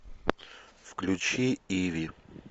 включи иви